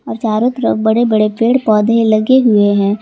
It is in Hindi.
चारों तरफ बड़े बड़े पेड़ पौधे लगे हुए हैं।